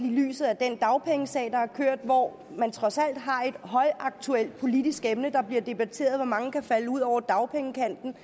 i lyset af den dagpengesag der har kørt hvor man trods alt har et højaktuelt politisk emne der bliver debatteret hvor mange der kan falde ud over dagpengekanten